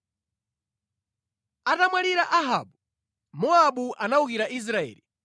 Atamwalira Ahabu, Mowabu anawukira Israeli.